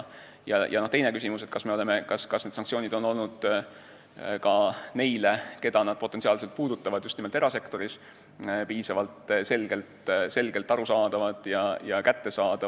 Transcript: Teine küsimus aga on, kas need sanktsioonid on olnud ka neile, keda nad potentsiaalselt puudutavad – pean silmas just nimelt erasektorit –, piisavalt arusaadavad ja rakendatavad.